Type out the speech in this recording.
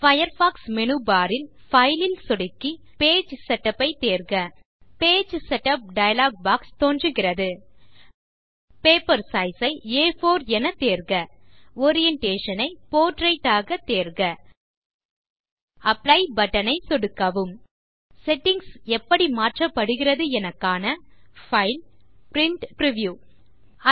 Firefox menu bar ல் file ல் சொடுக்கி பேஜ் செட்டப் ஐத் தேர்க பேஜ் செட்டப் டயலாக் பாக்ஸ் தோன்றுகிறது பேப்பர் சைஸ் ஐ ஆ4 எனத் தேர்க ஓரியன்டேஷன் ஐ போர்ட்ரெய்ட் ஆகத் தேர்க அப்ளை பட்டன் ஐ சொடுக்கவும் செட்டிங்ஸ் எப்படி மாற்றப்பட்டிருக்கிறது என காண பைல் பிரின்ட் பிரிவ்யூ